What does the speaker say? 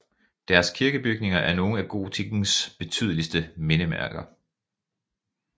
Deres kirkebygninger er nogle af gotikkens betydeligste mindesmærker